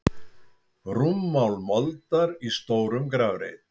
Rúmmál moldar í stórum grafreit.